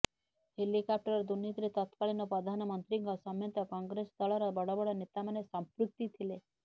helicopter ଦୁର୍ନୀତିରେ ତତକାଳୀନ ପ୍ରଧାନମନ୍ତ୍ରୀଙ୍କ ସମେତ କଂଗ୍ରେସ ଦଳର ବଡବଡ ନେତାମାନେ ସମ୍ପୃକ୍ତି ଥିଲେ